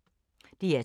DR2